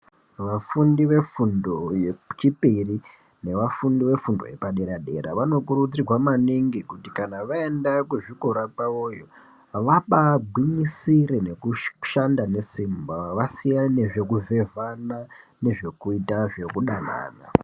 Vafundi vefundo yechipiri nevafundi vefundo yepadera dera vanokurudzirwa maningi kuti kana vaenda kuzvikora kwavoyo vabaagwinyisire nekushanda nesimba vasiyane zvekuvhevhana nezvekuita zvekudanana.